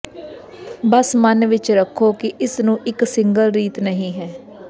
ਬਸ ਮਨ ਵਿੱਚ ਰੱਖੋ ਕਿ ਇਸ ਨੂੰ ਇੱਕ ਸਿੰਗਲ ਰੀਤ ਨਹੀ ਹੈ